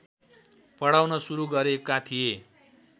पढाउन सुरु गरेका थिए